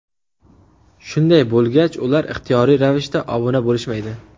Shunday bo‘lgach ular ixtiyoriy ravishda obuna bo‘lishmaydi.